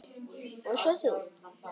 Og svo þú.